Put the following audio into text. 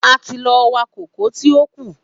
A ti lọ wá kókò tí ó kù.